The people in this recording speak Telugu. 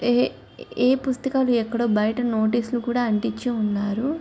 ఏ ఎ పుస్తకాలు ఎక్కడో బయట నోటీసు లు కూడా అంటించి ఉన్నారు.